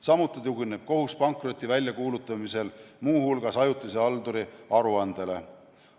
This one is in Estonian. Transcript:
Samuti tugineb kohus pankroti väljakuulutamisel muuhulgas ajutise halduri aruandele.